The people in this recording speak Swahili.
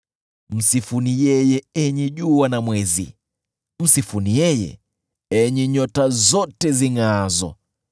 Msifuni yeye, enyi jua na mwezi, msifuni yeye, enyi nyota zote zingʼaazo.